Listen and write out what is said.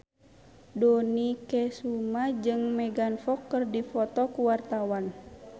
Dony Kesuma jeung Megan Fox keur dipoto ku wartawan